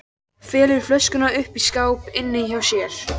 Felur flöskuna uppi í skáp inni hjá sér.